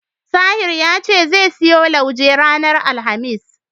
Tahir ya ce zai siyo lauje ranar Alhamis.